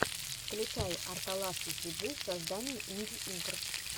включай арталаский сиджи создание инди игр